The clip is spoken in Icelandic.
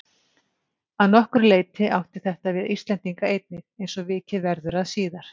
Að nokkru leyti átti þetta við Íslendinga einnig eins og vikið verður að síðar.